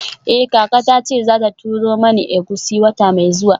Eh kaka tace zata turo mana egusi wata mai zuwa.